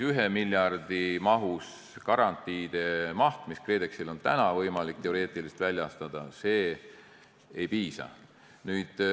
1 miljardi mahus garantiidest, mida KredExil on võimalik teoreetiliselt väljastada, ei piisa.